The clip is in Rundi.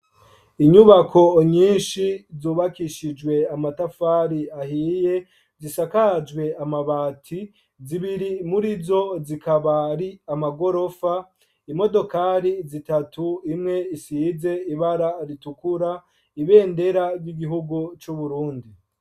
Inyubako nyinshi zubakishijwe amatafari ahiye, zisakajwe amabati zibiri murizo zikaba ari amagorofa, imodokari zitatu imwe isize ibara ritukura ,ibendera ry’igihugu c’uburundi.